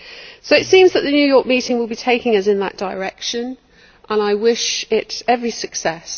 So it seems that the New York meeting will be taking us in that direction, and I wish it every success.